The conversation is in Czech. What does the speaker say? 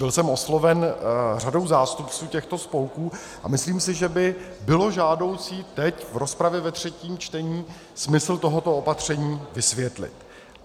Byl jsem osloven řadou zástupců těchto spolků a myslím si, že by bylo žádoucí teď v rozpravě ve třetím čtení smysl tohoto opatření vysvětlit.